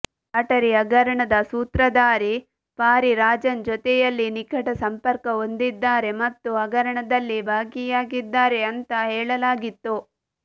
lottery ಹಗರಣದ ಸೂತ್ರಧಾರಿ ಪಾರಿರಾಜನ್ ಜೊತೆಯಲ್ಲಿ ನಿಕಟ ಸಂಪರ್ಕ ಹೊಂದಿದ್ದಾರೆ ಮತ್ತು ಹಗರಣದಲ್ಲಿ ಭಾಗಿಯಾಗಿದ್ದಾರೆ ಅಂತ ಹೇಳಲಾಗಿತ್ತು